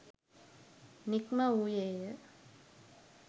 නික්ම වූයේ ය.